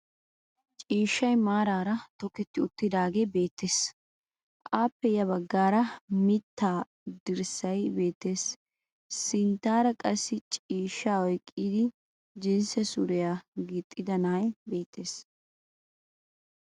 Ciishshay maaraara tokerti uttiidaagee beettes. Aappe ya baggaara mittaa dirssay beettes. Sinttaara qassi ciishshaa oyikkidi jinsse suriya gixxida na"ay beettes.